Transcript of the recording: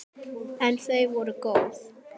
En þau voru góð.